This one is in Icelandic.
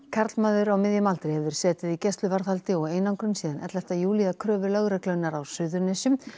karlmaður á miðjum aldri hefur setið í gæsluvarðhaldi og einangrun síðan ellefta júlí að kröfu lögreglunnar á Suðurnesjum